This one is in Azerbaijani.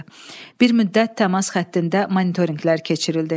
Bir müddət təmas xəttində monitorinqlər keçirildi.